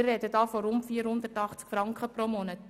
Wir sprechen von rund 480 Franken pro Monat.